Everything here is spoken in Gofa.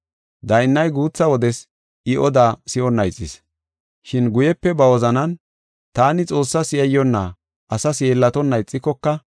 Daynnay guutha wodes I odaa si7onna ixis, shin guyepe ba wozanan, ‘Taani Xoossas yayyonna, asas yeellatonna ixikoka,